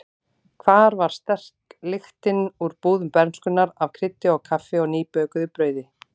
Hvar var sterk lyktin úr búðum bernskunnar af kryddi og kaffi og nýbökuðu brauði?